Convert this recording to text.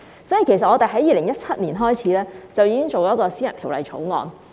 所以，我們在2017年已經開始提出這項私人條例草案。